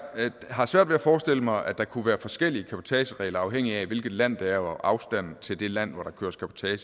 har svært ved at forestille mig at der kunne være forskellige cabotageregler afhængigt af hvilket land det er og afstanden til det land der køres cabotage i